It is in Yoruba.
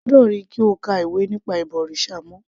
Èmi kò gbọ́dọ̀ ríi kí o ka ìwé nípa ìbọ̀rìṣà mọ́